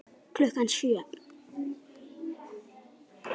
Klukkan sjö.